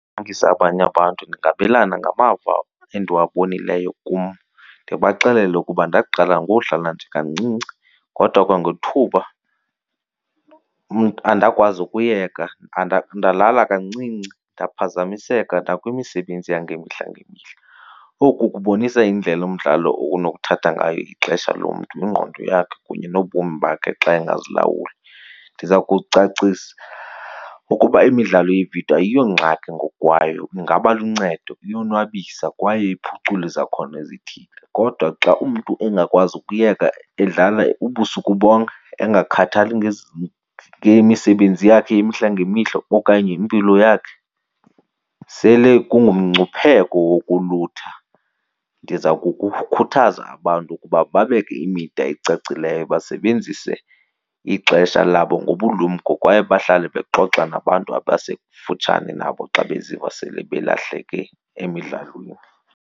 abanye abantu ndingabelana ngamava endiwabonileyo kum, ndibaxelele ukuba ndaqala ngodlala nje kancinci kodwa kwangethuba andakwazi ukuyeka, ndalala kancinci ndaphazamiseka nakwimisebenzi yangemihla ngemihla. Oku kubonisa indlela umdlalo onokuthatha ngayo ixesha lomntu, ingqondo yakhe kunye nobomi bakhe xa engazilawuli. Ndiza kucacisa ukuba imidlalo yeevidiyo ayiyongxaki ngokwayo ingaba luncedo iyonwabisa kwaye iphucula izakhono ezithile, kodwa xa umntu engakwazi ukuyeka edlala ubusuku bonke engakhathaleli ngemisebenzi yakhe yemihla ngemihla okanye impilo yakhe, sele kungumngcipheko wokulutha. Ndiza kukukhuthaza abantu ukuba babeke imida ecacileyo basebenzise ixesha labo ngobulumko kwaye bahlale bexoxa nabantu abasekufutshane nabo xa beziva sele belahleke emidlalweni.